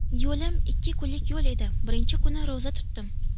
Yo‘lim ikki kunlik yo‘l edi, birinchi kuni ro‘za tutdim.